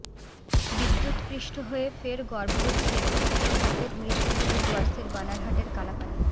বিদ্যুৎস্পৃষ্ট হয়ে ফের গর্ভবতী একটি স্ত্রী হাতির মৃত্যু হল ডুয়ার্সের বানারহাটের কালাপানি